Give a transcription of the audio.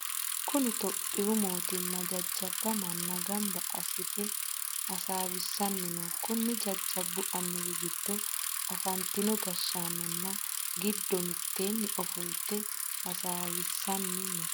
Kunni itophiyu mootimma jajaba manna gamba asite hasaawisanni no. Konni jajabu annuwi gido afantino gashaanonna gido miteenni ofolte hasaawishanni no.